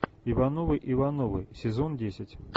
ивановы ивановы сезон десять